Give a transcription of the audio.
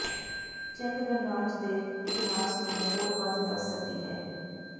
check ਗਣਰਾਜ ਦੇ ਇਤਿਹਾਸ ਨੂੰ ਹੋਰ ਵੱਧ ਦਸ ਸਦੀ ਹੈ